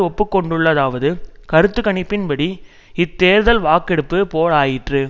ஒப்பு கொண்டுள்ளதாவது கருத்து கணிப்பின்படி இத்தேர்தல் வாக்கெடுப்பு போல் ஆயிற்று